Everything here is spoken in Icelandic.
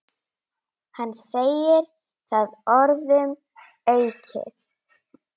Hann segir það orðum aukið.